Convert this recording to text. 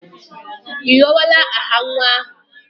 Ị họrọla aha nwa ahụ?